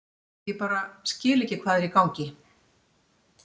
Ég bara skil ekki hvað er í gangi.